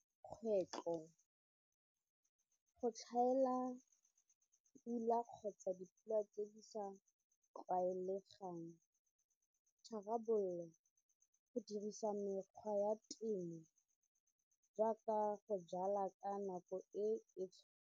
Kgwetlho go tlhaela pula kgotsa dipula tse di sa tlwaelegang, tharabololo go dirisa mekgwa ya temo jaaka go jala ka nako e e.